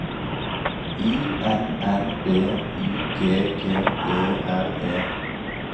I N N B Y G G E R E